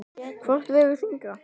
Hvort vegur þyngra?